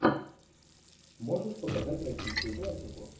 можешь показать российскую классику